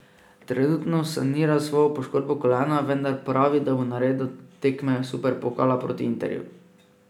Trenutno sanira svojo poškodbo kolena, vendar pravi, da bo nared do tekme superpokala proti Interju.